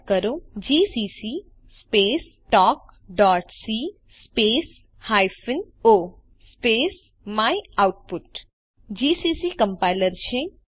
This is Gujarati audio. ટાઇપ કરો જીસીસી સ્પેસ talkસી space hyphen o space my output GCC compiler છે